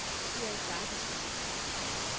Erik Bagge